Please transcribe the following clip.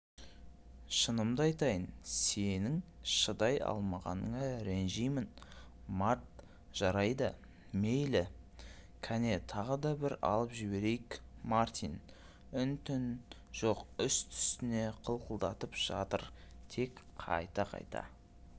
шынымды айтайын сенің шыдай алмағаныңа ренжимін март жарайды мейлі кәне тағы да бір алып жіберейік мартин үн-түн жоқ үсті-үстіне қылқылдатып жатыр тек қайта-қайта